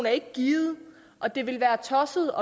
er ikke givet og det vil være tosset